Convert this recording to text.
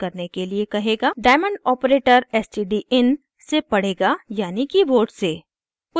diamond operator stdin से पढ़ेगा यानि कीबोर्ड से